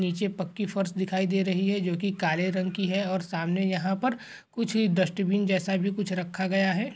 नीचे पक्की फर्श दिखाई दे रही है जो कि काले रंग की है और सामने यहाँ पर कुछ डस्टबिन जैसा भी कुछ रखा गया है।